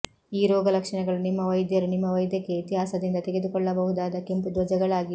ಈ ರೋಗಲಕ್ಷಣಗಳು ನಿಮ್ಮ ವೈದ್ಯರು ನಿಮ್ಮ ವೈದ್ಯಕೀಯ ಇತಿಹಾಸದಿಂದ ತೆಗೆದುಕೊಳ್ಳಬಹುದಾದ ಕೆಂಪು ಧ್ವಜಗಳಾಗಿವೆ